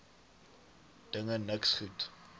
dinge niks goed